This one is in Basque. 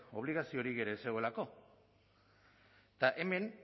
obligaziorik ez zegoelako eta hemen